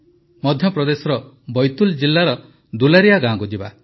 ମଧ୍ୟପ୍ରଦେଶର ବୈତୁଲ୍ ଜିଲ୍ଲାର ଦୁଲାରିଆ ଗାଁକୁ ଯିବା